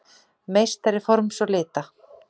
meistari forms og lita.